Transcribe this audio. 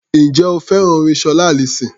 Ǹjẹ́ o fẹ́ràn orin Ṣọlá Allyson?